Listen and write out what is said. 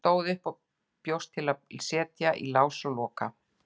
Stóð upp og bjóst til að setja í lás og loka.